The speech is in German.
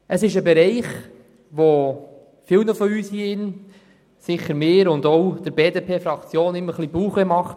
Es ist ein Bereich, der vielen in diesem Saal, aber auch mir und der BDP-Fraktion immer ein bisschen Bauchschmerzen bereitet.